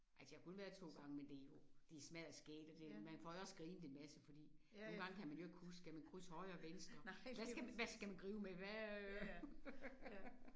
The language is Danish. Altså jeg har kun været der 2 gange men det jo det smadderskægt og det det man får jo også grinet en masse fordi nogle gange kan man ikke jo huske skal man krydse højre venstre hvad skal hvad skal man gribe med hvad øh